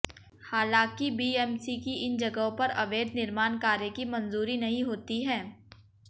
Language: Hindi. हालांकी बीएमसी की इन जगहों पर अवैध निर्माण कार्य की मंजूरी नहीं होती है